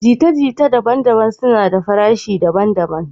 Jita-jita daban-daban suna da farashi daban-daban.